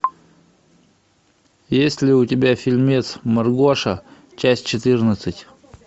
есть ли у тебя фильмец маргоша часть четырнадцать